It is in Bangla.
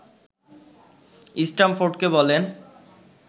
স্ট্যামফোর্ডকে বলেন